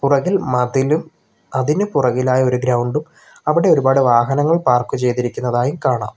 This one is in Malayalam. പുറകിൽ മതിലും അതിനു പുറകിലായ ഒരു ഗ്രൗണ്ടും അവിടെ ഒരുപാട് വാഹനങ്ങൾ പാർക്ക് ചെയ്തിരിക്കുന്നതായും കാണാം.